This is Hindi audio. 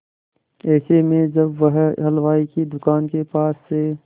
ऐसे में जब वह हलवाई की दुकान के पास से